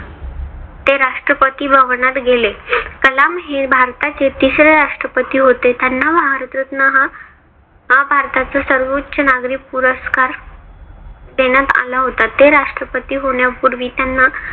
ते राष्ट्रपती भवनात गेले. कलाम हे भारताचे तिसरे राष्ट्रपती होते. त्यांना भारतरत्न हा भारताचा सर्वोच्च नागरी पुरस्कार देण्यात आला होता. ते राष्ट्रपती होण्यापूर्वी त्यांना